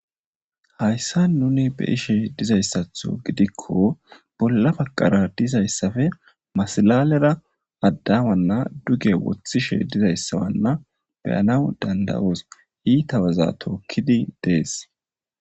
Haysan nun be'ashe dizaysatho gidikko bolla bagara dizaysappe masilalera adamanna duge wothishe dizaysana be'anawu dand'aoso ita waza tokidi des